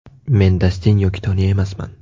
Men Dastin yoki Toni emasman.